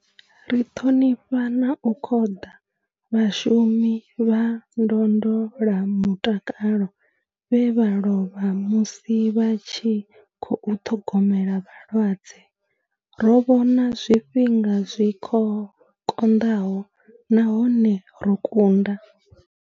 Ri ṱhonifha na u khoḓa vhashumi vha ndondolamutakalo vhe vha lovha musi vha tshi khou ṱhogomela vhalwadze. Ro vhona zwifhinga zwi konḓaho nahone ro kunda.